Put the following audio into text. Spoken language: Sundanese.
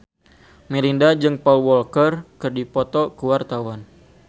Melinda jeung Paul Walker keur dipoto ku wartawan